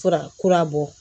Fura kura bɔ